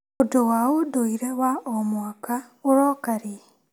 ũndũ wa ũndũire wa o mwaka ũroka rĩ?